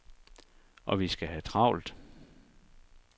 Og vi skal have travlt.